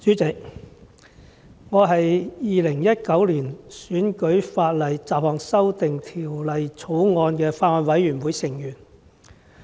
主席，我是《2019年選舉法例條例草案》委員會成員。